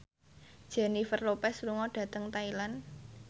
Jennifer Lopez lunga dhateng Thailand